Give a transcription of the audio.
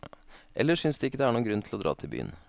Ellers synes de ikke det er noen grunn til å dra til byen.